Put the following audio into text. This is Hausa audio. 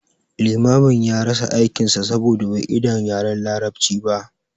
Limamin ya rasa aikin sa saboda bai idan yaren larabci ba